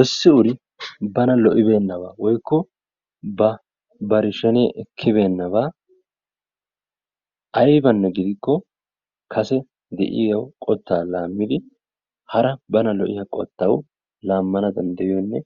Issi uri bana lo'ibeennabaa woyikko bari shenee ekkibeennabaa ayibanne gidikko kase de'iyaa qottaa laammidi hara bana lo'iyaa qottawu laammana danddayioonne